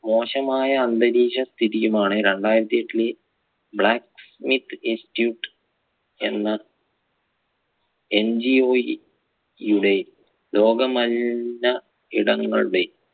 മോശമായ അന്തരീക്ഷ സ്ഥിതിയുമാണ് രണ്ടായിരത്തി എട്ടിലെ black smith institute എന്ന NGO യുടെ ലോകമലിന ഇടങ്ങളുടെ